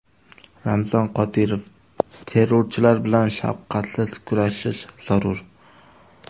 Ramzan Qodirov: Terrorchilar bilan shafqatsiz kurashish zarur.